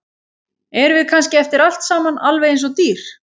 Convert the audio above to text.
Erum við kannski eftir allt saman alveg eins og dýr?